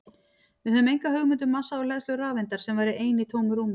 Við höfum enga hugmynd um massa og hleðslu rafeindar sem væri ein í tómu rúmi!